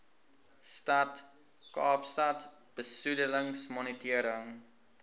stad kaapstad besoedelingsmonitering